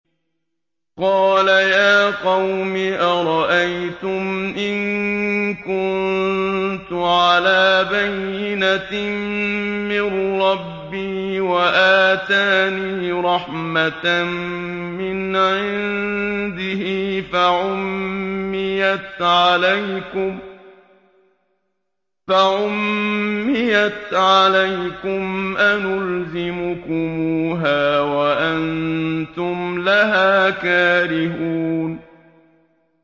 قَالَ يَا قَوْمِ أَرَأَيْتُمْ إِن كُنتُ عَلَىٰ بَيِّنَةٍ مِّن رَّبِّي وَآتَانِي رَحْمَةً مِّنْ عِندِهِ فَعُمِّيَتْ عَلَيْكُمْ أَنُلْزِمُكُمُوهَا وَأَنتُمْ لَهَا كَارِهُونَ